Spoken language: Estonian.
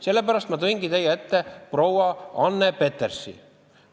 Sellepärast ma tõingi teie ette proua Anne Petersi arvamuse.